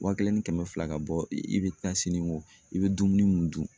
Wa kelen ni kɛmɛ fila ka bɔ i bɛ taa siniko i bɛ dumuni mun dun.